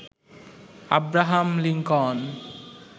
Abraham Lincoln